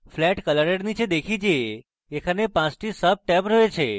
flat color এর নীচে দেখি যে এখানে 5 টি সাবট্যাব রয়েছে